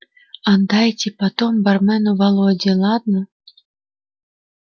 отдайте потом бармену володе ладно